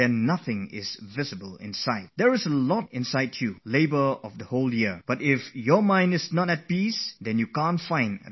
There is a lot within you, the treasure as a result of the hard work of a whole year is filled inside you, but if your mind is troubled, you will not be able to discover that wealth